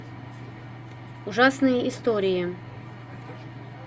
ужасные истории